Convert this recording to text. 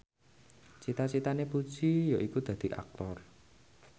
cita citane Puji yaiku dadi Aktor